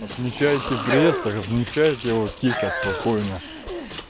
отмечайте приезд так отмечайте его тихо спокойно